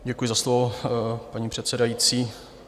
Děkuji za slovo, paní předsedající.